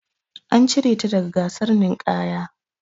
An cire ta daga gasar ninƙaya.